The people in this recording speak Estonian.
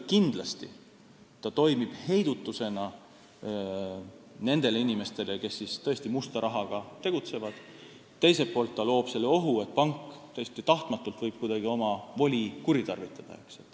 Kindlasti ta toimib heidutusena nendele inimestele, kes tõesti musta rahaga tegutsevad, teisalt aga loob ohu, et pank võib ka täiesti tahtmatult oma voli kuritarvitada.